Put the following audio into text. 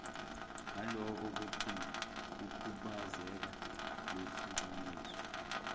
naloko kukhubazeka lehlukaniswe